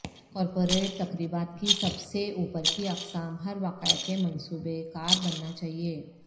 corporate تقریبات کی سب سے اوپر کی اقسام ہر واقعہ کے منصوبہ کار بننا چاہئے